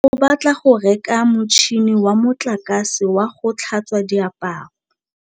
Katlego o batla go reka motšhine wa motlakase wa go tlhatswa diaparo.